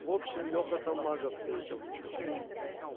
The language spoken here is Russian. в общем леха там мага встретил